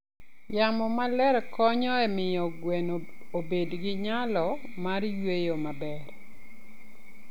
Yamo maler konyo e miyo gweno obed gi nyalo mar yweyo maber.